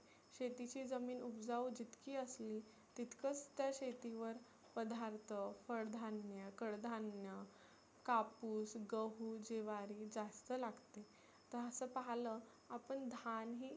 शेतीची जमीन उबजाऊ जितकी असली तितकच त्या शेतीवर पदार्थ, फळधान्य, कडधान्य, कापुस, गहु, ज्वारी जास्त लागत. तर असंं पाहलं आपण धान ही